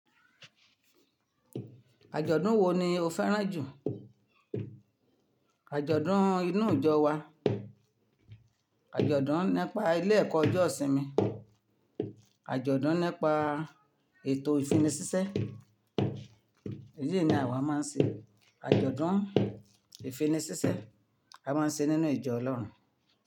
Àjọ̀dún wo ni o fẹ́ràn jù? Àjọ̀dún inú ìjọ wa, àjọ̀dún nípa ilé ẹ̀kọ́ ọjọ́ ìsinmi, àjọ̀dún nípa ètò ìfini síṣẹ́, èyí ni àwa máa ń ṣe. Àjọ̀dún ìfini síṣẹ́, a máa ń ṣeé nínú ìjọ Ọlọ́run.